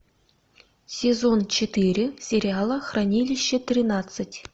сезон четыре сериала хранилище тринадцать